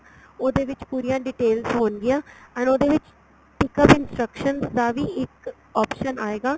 ਉਹਦੇ ਵਿੱਚ ਪੂਰੀਆਂ detail ਹੋਣਗੀਆਂ and ਉਹਦੇ ਵਿੱਚ ਇੱਕ instructions ਦਾ ਵੀ ਇੱਕ option ਆਏਗਾ